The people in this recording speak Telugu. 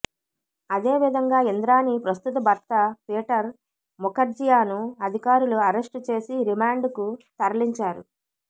అదే విధంగా ఇంద్రాణి ప్రస్తుత భర్త పీటర్ ముఖర్జియాను అధికారులు అరెస్టు చేసి రిమాండ్ కు తరలించారు